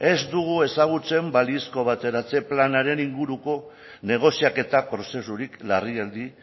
ez dugu ezagutzen balizko bateratzen planaren inguruko negoziaketa prozesurik larrialdi